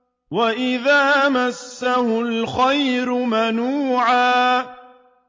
وَإِذَا مَسَّهُ الْخَيْرُ مَنُوعًا